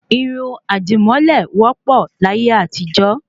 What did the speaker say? Irun àdìmọ́lẹ̀ wọ́ pọ̀ láyé àtijọ́